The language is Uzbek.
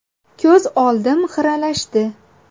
Ko‘z oldim xiralashdi.